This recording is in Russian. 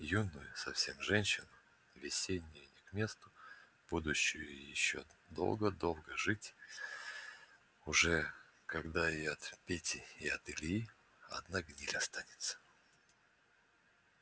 юную совсем женщину весеннюю не к месту будущую ещё долго-долго жить уже когда и от пети и от ильи одна гниль останется